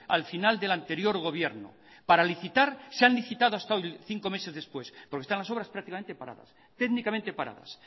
al final del anterior gobierno para licitar se ha licitado hasta hoy cinco meses después porque están la obras prácticamente paradas